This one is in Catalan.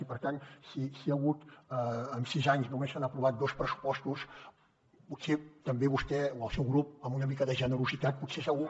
i per tant si en sis anys només s’han aprovat dos pressupostos potser també vostè o el seu grup amb una mica de generositat potser segur